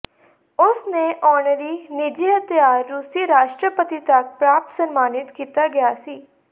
ਉਸ ਨੇ ਆਨਰੇਰੀ ਨਿੱਜੀ ਹਥਿਆਰ ਰੂਸੀ ਰਾਸ਼ਟਰਪਤੀ ਤੱਕ ਪ੍ਰਾਪਤ ਸਨਮਾਨਿਤ ਕੀਤਾ ਗਿਆ ਸੀ